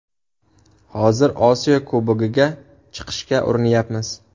Hozir Osiyo Kubogiga chiqishga urinyapmiz.